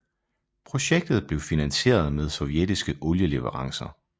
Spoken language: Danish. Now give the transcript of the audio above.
Projektet blev finansieret med sovjetiske olieleverancer